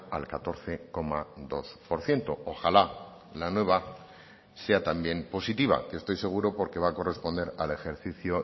al catorce coma dos por ciento ojala la nueva sea también positiva que estoy seguro porque va a corresponder al ejercicio